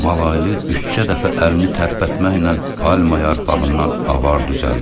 Malaylı üçcə dəfə əlini tərpətməklə palma yarpağından avar düzəldir.